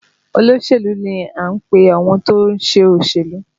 Olóṣèlú ni à ń pe àwọn tó ń ṣe òṣèlú